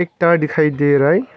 त दिखाई दे रहा है।